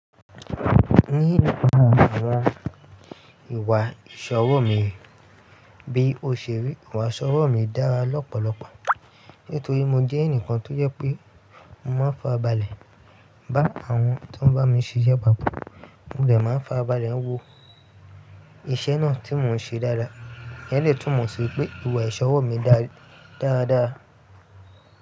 Ní ìlọ́wọ́lọ́wọ́, ìwà ìṣọwọ́ mi bí òṣèré, ìwà ìṣọwọ́ mi dára lọ́pọ̀lọpọ̀ nítorí mo jẹ́ ẹnìkan tó jẹ́ pé mo máa fàrabálẹ̀ bá àwọn tó ń bá mi ṣiṣẹ́ papọ̀. Mo dẹ máa nfàrabálẹ̀ wo iṣẹ́ náà tí mò ń ṣe dára. Ẹleyi túnmọ̀ sí pé ìwà ìṣọwọ́ mi dára dáadáa.